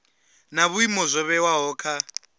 na vhuimo zwo vhewaho kha